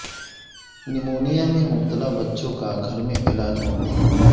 pneumonia میں مبتلا بچوں کا گھر میں علاج ممکن